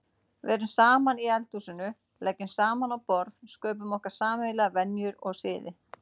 Verum saman í eldhúsinu, leggjum saman á borð, sköpum okkur sameiginlegar venjur og siði.